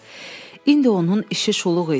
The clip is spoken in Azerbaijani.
İndi onun işi şuluq idi.